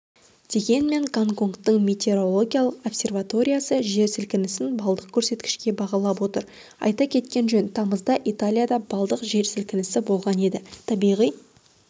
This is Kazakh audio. дегенмен гонконгтың метеорологиялық обсерваториясы жер сілкінісін баллдық көрсеткішке бағалап отыр айта кеткен жөн тамызда италияда баллдық жер сілкінісі болған еді табиғи